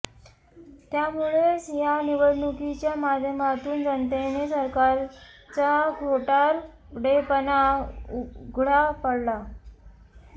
त्यामुळेच या निवडणुकीच्या माध्यमातून जनतेने सरकारचा खोटारडेपणा उघडा पाडला